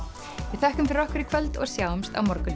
við þökkum fyrir okkur í kvöld og sjáumst á morgun